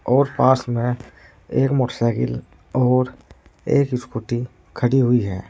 और पास में एक मोटरसाइकिल और एक स्कूटी खड़ी हुई है।